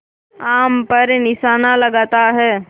आम पर निशाना लगाता है